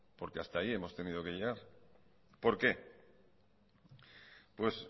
porque hasta aquí hemos tenido que llegar por qué pues